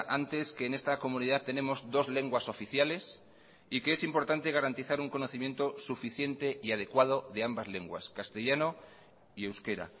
antes que en esta comunidad tenemos dos lenguas oficiales y que es importante garantizar un conocimiento suficiente y adecuado de ambas lenguas castellano y euskera